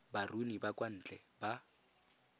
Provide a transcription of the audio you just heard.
baruni ba kwa ntle ba